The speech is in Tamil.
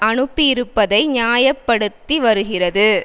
அனுப்பியிருப்பதை நியாயப்படுத்திவருகிறது